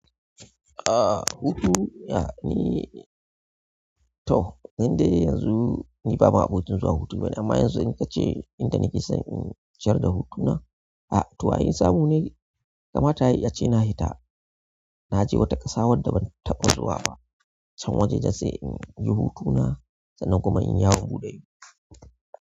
Ah hutu ya'ni toh yanzu ni ba mahabobcin zuwa hutu ba ne amma yanzu in ka ce inda nake son in ci you yar da hutuna, a to a in samu ne. Kamata yai ace na hita. Na je wata ƙasa wadda ban taɓa zuwa ba can waje da sai in yi hutuna sannan kuma in yawo buɗe ido.